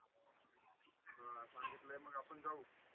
अह सांगितले मग आपन जाऊ.